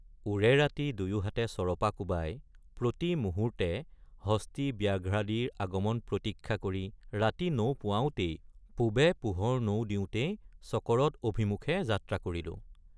ওৰে ৰাতি দুয়োহাতে চৰপা কোবাই প্ৰতি মুহূৰ্তে হস্তীব্যাঘ্ৰাদিৰ আগমন প্ৰতীক্ষা কৰি ৰাতি নৌপুৱাওঁতেই পূবে পোহৰ নৌদিওঁতেই চকৰদ অভিমুখে যাত্ৰা কৰিলো।